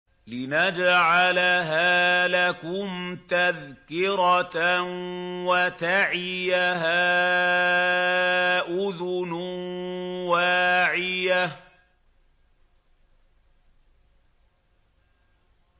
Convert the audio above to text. لِنَجْعَلَهَا لَكُمْ تَذْكِرَةً وَتَعِيَهَا أُذُنٌ وَاعِيَةٌ